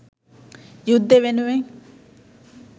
යුද්දෙ වෙනුවෙන්